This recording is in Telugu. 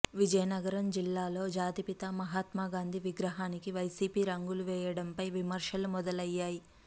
విజయనగరం జిల్లాలో జాతిపిత మహాత్మా గాంధీ విగ్రహానికి వైసీపీ రంగులు వేయడంపై విమర్శలు మొదలయ్యాయి